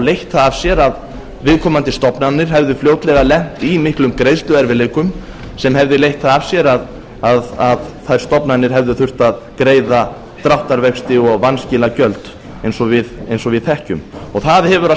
leitt það af sér að viðkomandi stofnanir hefðu fljótlega lent í miklum greiðsluerfiðleikum sem hefðu leitt það af sér að þær stofnanir hefðu þurft að greiða dráttarvexti og vanskilagjöld eins og við þekkjum og það hefur að